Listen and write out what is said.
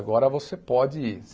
Agora você pode ir.